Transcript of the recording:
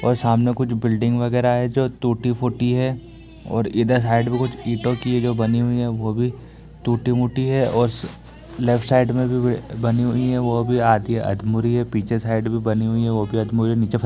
और सामने कुछ बिल्डिंग वगेरा है जो टूटी फूटी है और इधर साइड में कुछ ईटों की जो बनी हुई है वो भी टूटी मुटी है और स लेफ्ट साइड में भी बि वो बनी हुई हैं वो भी आधी अध्मुरी है। पीछे साइड भी बनी हुई है वो भी अध्मुरी है। नीचे फ --